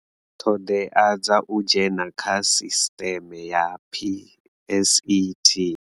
Ṱhoḓea dza u dzhena kha sisteme ya PSET.